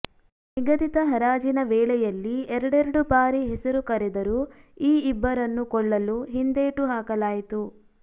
ನಿಗದಿತ ಹರಾಜಿನ ವೇಳೆಯಲ್ಲಿ ಎರಡೆರಡು ಬಾರಿ ಹೆಸರು ಕರೆದರೂ ಈ ಇಬ್ಬರನ್ನು ಕೊಳ್ಳಲು ಹಿಂದೇಟು ಹಾಕಲಾಯಿತು